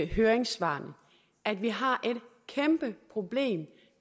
høringssvarene at vi har et kæmpe problem